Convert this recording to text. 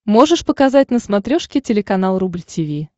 можешь показать на смотрешке телеканал рубль ти ви